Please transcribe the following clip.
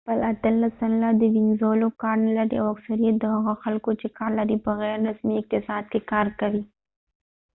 اتلس سلنه د وينزولاvenezuela خلک کار نه لري ، او اکثریت د هغه خلکو چې کار لري په غیر رسمی اقتصاد کې کار کوي